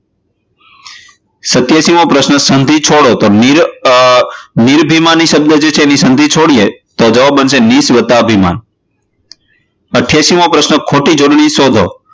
સત્યાશી મો પ્રશ્ન સંધિ છોડો નિરભિમાની શબ્દ છે એની સંધિ છોડીએ તો જવાબ બનશે નીશ વત્તા અભિમાન. અઠ્યાશી મો પ્રશ્ન ખોટી જોડણી સોંધો.